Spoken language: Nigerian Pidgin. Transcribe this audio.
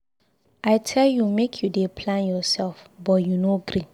I tell you make you dey plan yourself but you no gree.